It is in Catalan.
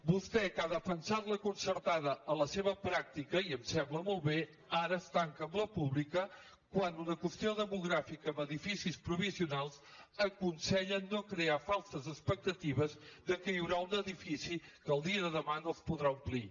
vostè que ha defensat la concertada en la seva pràctica i em sembla molt bé ara es tanca amb la pública quan una qüestió demogràfica amb edificis provisionals aconsella no crear falses expectatives que hi haurà un edifici que el dia de demà no es podrà omplir